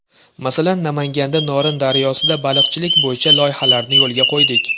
Masalan, Namanganda Norin daryosida baliqchilik bo‘yicha loyihalarni yo‘lga qo‘ydik.